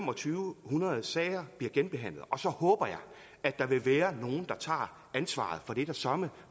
hundrede sager bliver genbehandlet og så håber jeg at der vil være nogle der tager ansvaret for det er der søreme